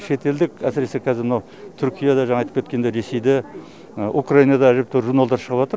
шетелдік әсіресе қазір мынау түркияда жана айтып кеткендей ресейде украинада әжептәуір журналдар шығыватыр